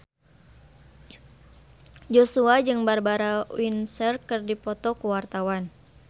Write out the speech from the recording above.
Joshua jeung Barbara Windsor keur dipoto ku wartawan